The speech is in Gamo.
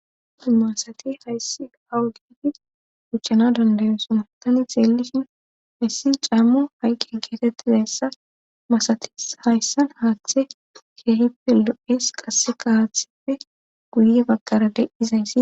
masati hayssi awu giigi uchchana dandayo sumatani xeellishin hayssi cammu hayqkin keetettizayssa masatis hayssan haaththe keehippe lo7es qasse kawathippe guye bagqara de7izays